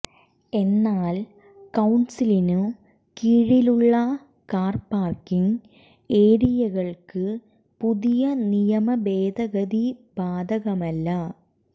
എന്നാൽ കൌൺസിലിനു കീഴിലുള്ള കാർ പാർക്കിങ് ഏരിയകൾക്ക് പുതിയ നിയമഭേദഗതി ബാധകമല്ല